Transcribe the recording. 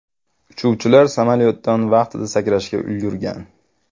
Uchuvchilar samolyotdan vaqtida sakrashga ulgurgan.